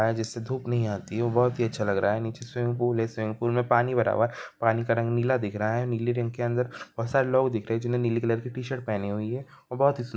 जिससे धुप नहीं आती है वो बहोत ही अच्छा लग रहा है नीचे स्विमिंग पूल है स्विमिंग पूल में पानी भरा हुआ है पानी का रंग नीला दिख रहा है नीली रिंग के अंदर बहोत सारे लोग दिख रहे है जिन्होंने कलर के टी शर्ट पहनी हुई है और--